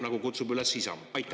… nagu kutsub üles Isamaa.